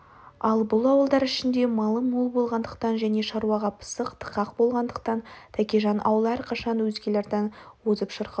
ал бұл ауылдар ішінде малы мол болғандықтан және шаруаға пысық тықақ болғандықтан тәкежан аулы әрқашан өзгелерден озып шырқау